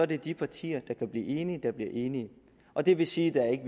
det de partier der kan blive enige der bliver enige og det vil sige at der ikke